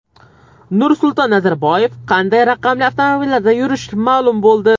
Nursulton Nazarboyev qanday raqamli avtomobillarda yurishi ma’lum bo‘ldi.